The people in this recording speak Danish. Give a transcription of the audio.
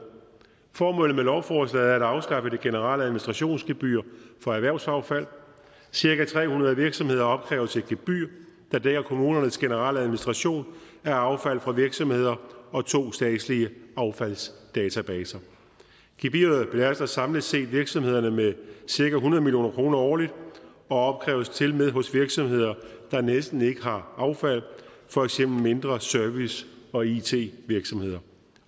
formålet med lovforslaget er at afskaffe det generelle administrationsgebyr for erhvervsaffald cirka tre hundrede virksomheder opkræves et gebyr der dækker kommunernes generelle administration af affald fra virksomheder og to statslige affaldsdatabaser gebyret belaster samlet set virksomhederne med cirka hundrede million kroner årligt og opkræves tilmed hos virksomheder der næsten ikke har affald for eksempel mindre service og it virksomheder